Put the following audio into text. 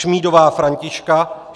Šmídová Františka